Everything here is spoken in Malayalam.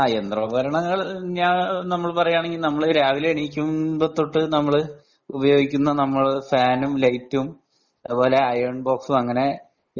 യന്ത്രോപകരണങ്ങൾ നമ്മൾ പറയാണെങ്കിൽ നമ്മൾ രാവിലെ എണീക്കുമ്പം തൊട്ട് നമ്മൾ ഉപയോഗിക്കുന്ന നമ്മൾ ഫാനും ലൈറ്റും അതുപോലെ അയേൺ ബോക്സും അങ്ങനെ